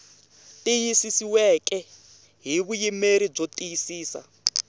tiyisisiweke hi vuyimeri byo tiyisisa